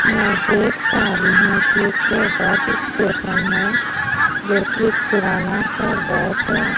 मैं देख पा रही हूं कि एक बस स्टेशन है जो कि एक पुराना सा बस है।